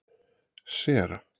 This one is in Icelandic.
Sera